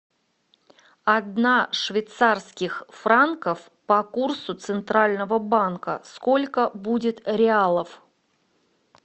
одна швейцарских франков по курсу центрального банка сколько будет реалов